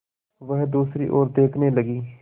वह दूसरी ओर देखने लगी